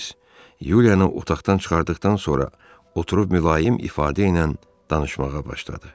Ceyms Yuliyanı otaqdan çıxartdıqdan sonra oturub mülayim ifadə ilə danışmağa başladı.